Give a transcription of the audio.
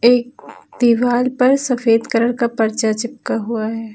एक दीवार पर सफ़ेद कलर का पर्चा चिपका हुआ है।